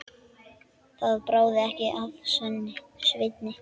Það bráði ekki af Sveini.